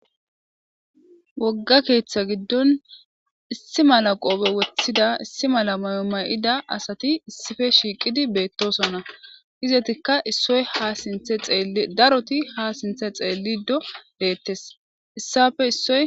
wogga keeththa giddon issi mala qoope woththida issi mala mayoma7ida asati issife shiiqidi beettosonna hizetikka issoy ha sinthe daroti ha sinthe xeellido deettes issappe issoy